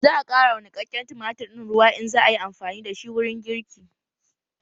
Za a ƙara wa niƙaƙƙen tumatir ɗin ruwa in za ayi amfani da shi wurin girki